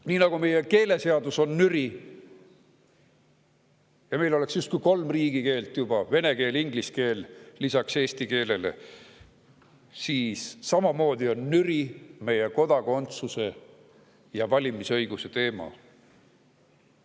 Nii nagu meie keeleseadus on nüri – meil oleks justkui kolm riigikeelt juba: vene keel ja inglise keel lisaks eesti keelele –, samamoodi on nüri meie kodakondsuse ja valimisõiguse teema.